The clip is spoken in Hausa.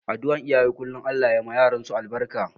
Adduar iyaye kullum Allah ya ma yaransu albarka.